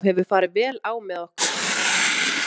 Alltaf hefur farið vel á með okkur.